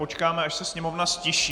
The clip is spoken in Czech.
Počkáme, až se sněmovna ztiší.